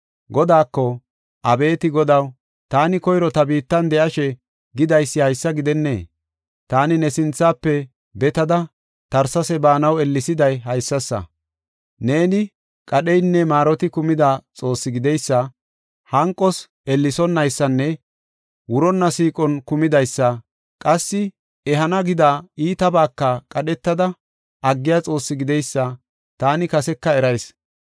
Godaako, “Abeeti Godaw taani koyro ta biittan de7ashe gidaysi haysa gidennee? Taani ne sinthafe betada Tarsesa baanaw ellesiday haysasa. Neeni qadheynne maaroti kumida Xoossi gideysa, hanqos ellesonaysanne wuronna siiqon kumidaysa, qassi ehana gida iitabaka qadhetada aggiya Xoossi gideysa taani kaseka erayis.